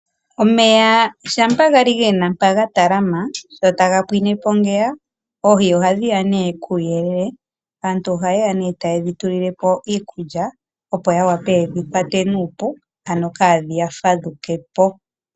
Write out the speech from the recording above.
Omeya shampa gali gena mpa gatalama, shotaga pwinepo ngeya oohi ohadhi ya puuyelele. Aantu oha yeya nee tayedhi tulilepo iikulya opo yawape yedhi kwate nuupu, ano kadhiya fadhukepo.